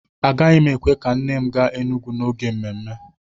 Agaghị m èkwè ka nne m gaa Enugwu n'oge mmemme